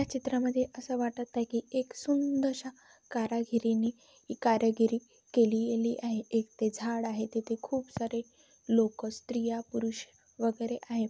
या चित्रा मध्ये अस वाटत आहे की एक सुद अशा कारागिरिनी कारागिरी केलेली आहे एक ते झाड आहे तेथे खूप सारे लोक स्त्रीया पुरुष वगैरे आहे.